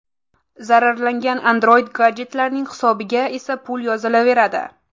Zararlangan Android-gadjetlarning hisobiga esa pul yozilaveradi.